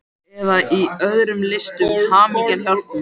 Eða í öðrum listum, hamingjan hjálpi mér!